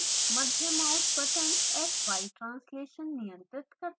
मध्य mouse button xy translation नियंत्रित करता है